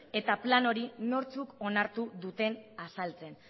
eta plan hori nortzuk onartu duten azaltzen